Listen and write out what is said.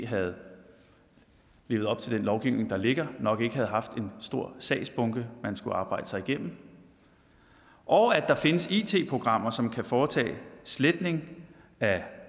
havde levet op til den lovgivning der ligger nok ikke havde haft en stor sagsbunke man skulle arbejde sig igennem og at der findes it programmer som kan foretage sletning af